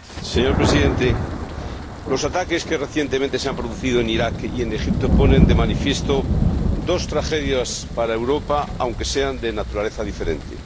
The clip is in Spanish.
Señor Presidente, los ataques que recientemente se han producido en Iraq y en Egipto ponen de manifiesto dos tragedias para Europa, aunque sean de naturaleza diferente.